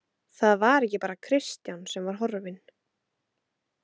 Það var ekki bara Kristján sem var horfinn.